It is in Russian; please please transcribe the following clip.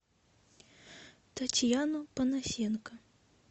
татьяну панасенко